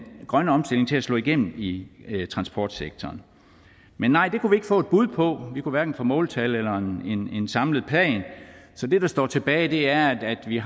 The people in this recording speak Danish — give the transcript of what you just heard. grønne omstilling til at slå igennem i transportsektoren men nej det kunne vi ikke få et bud på vi kunne hverken få måltal eller en samlet plan så det der står tilbage er at vi